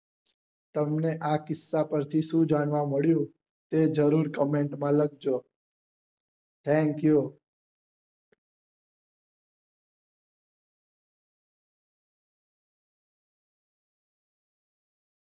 તમને આ કિસ્સા પરથી શું જાણવા મળ્યું એ જરૂર comment માં લખજો thank you